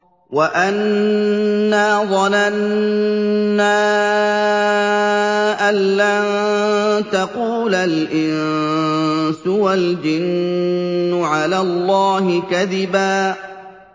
وَأَنَّا ظَنَنَّا أَن لَّن تَقُولَ الْإِنسُ وَالْجِنُّ عَلَى اللَّهِ كَذِبًا